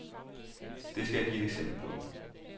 Det skal jeg give et eksempel på.